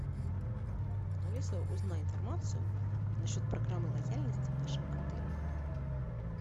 алиса узнай информацию насчет программы лояльности в нашем отеле